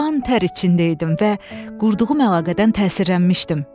Qan tər içində idim və qurduğum əlaqədən təsirlənmişdim.